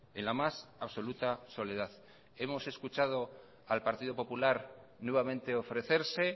en la más absoluta soledad hemos escuchado al partido popular nuevamente ofrecerse